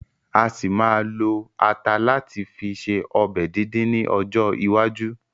A ṣì ma ma lo ata láti fi ṣe ọbẹ̀ díndín ni ọjọ́ iwájú